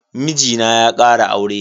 Mijina ya kara aure.